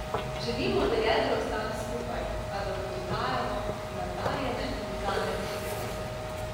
Želimo, da jedro ostane skupaj, a da mu dodajamo nadarjene mlade igralce.